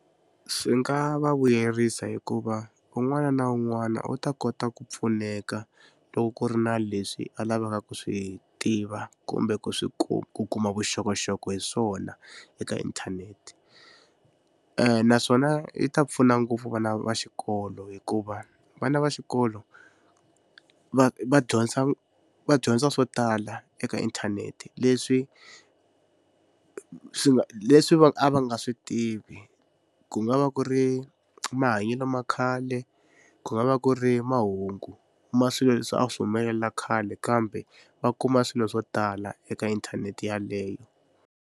Swi nga va vuyerisa hikuva un'wana na un'wana u ta kota ku pfuneka loko ku ri na leswi a lavaka ku swi tiva kumbe ku swi ku kuma vuxokoxoko hi swona eka internet naswona yi ta pfuna ngopfu vana va xikolo hikuva vana va xikolo va va va dyondza swo tala eka internet leswi swi nga leswi va a va nga swi tivi ku nga va ku ri mahanyelo ma khale ku nga va ku ri mahungu ma swilo leswi a swi humelela khale kambe va kuma swilo swo tala eka internet yaleyo.